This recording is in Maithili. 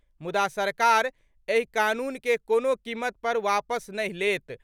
मुदा, सरकार एहि कानून के कोनो कीमत पर वापस नहि लेत।